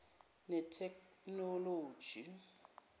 netheknoloji